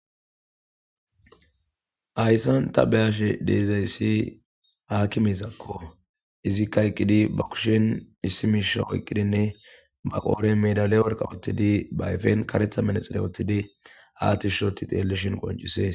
Hayssan ta bea'she deizayssi hakkimezako izzika eqqidi ba kushshen issi mishsha oyqqidinne ba qodhen meedala worqqa woththidi ba ayfen kareththa manaxire woththidi ha tish oththi xellishshin qonccises.